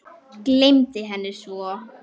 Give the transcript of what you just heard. Gleymdi henni svo.